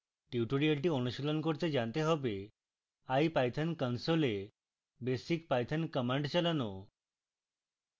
tutorial অনুশীলন করতে জানতে হবে